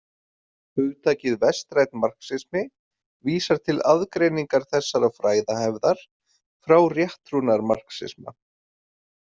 Hugtakið vestrænn marxismi vísar til aðgreiningar þessarar fræðahefðar frá rétttrúnaðarmarxisma.